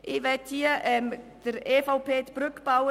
Ich möchte hier der EVP-Fraktion eine Brücke bauen.